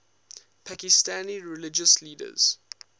pakistani religious leaders